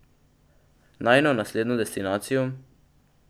Najino naslednjo destinacijo ...